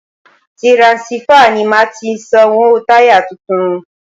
Tiransífà ni màá fi sanwó táyà tuntun.